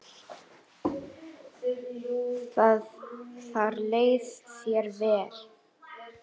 Þar leið þér vel.